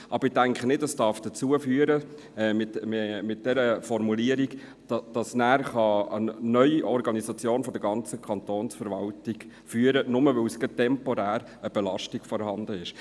Ich denke aber, diese Formulierung darf nicht zu einer neuen Organisation der ganzen Kantonsverwaltung führen, nur, weil gerade temporär eine Belastung vorhanden ist.